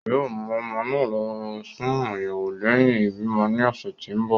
yoo mú ọmọ náà lọ fún ayẹwo lẹhin ibimọ ní ọsẹ tí nbọ.